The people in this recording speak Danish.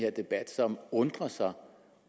her debat som undrer sig